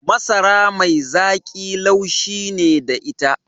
Masara mai zaƙi laushi ne da ita